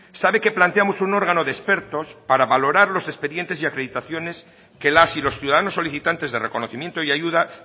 sabe que planteamos un órgano de expertos para valorar los expedientes y acreditaciones que las y los ciudadanos solicitantes de reconocimiento y ayuda